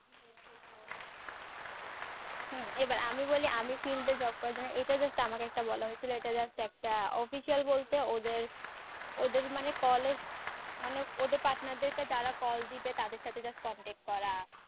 হম এই বার আমি বলি আমি field এ job করার জন্য এটা just আমাকে একটা বলা হয়েছিল এটা just একটা official বলতে ওদের ওদের মানে call মানে ওদের partner দের কে যারা call দিবে তাদের সাথে just contact করা